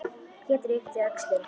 Pétur yppti öxlum.